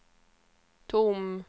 tom